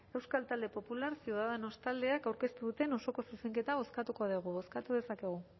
euskal talde popular ciudadanos taldeak aurkeztu duen osoko zuzenketa bozkatuko dugu bozkatu dezakegu